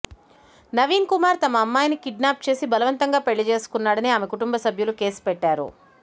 నవీన్ కుమార్ తమ అమ్మాయిని కిడ్నాప్ చేసి బలవంతంగా పెళ్లి చేసుకున్నాడని ఆమె కుటుంబ సభ్యులు కేసు పెట్టారు